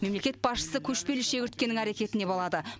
мемлекет басшысы көшпелі шегірткенің әрекетіне балады